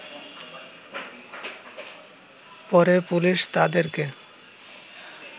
পরে পুলিশ তাদেরকে